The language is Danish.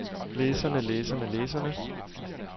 læserne læserne læserne